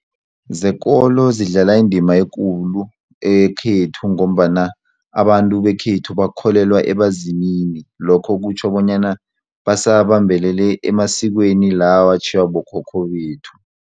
Zekolo zidlala indima ekulu ekhethu ngombana abantu bekhethu bakholelwa ebazimini lokho kutjho bonyana basabambelele emasikweni la watjhiywa bokhokho bethu.